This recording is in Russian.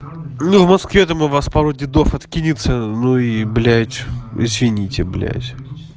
ну в москве там у вас пару дедов откинется ну и блять извините блять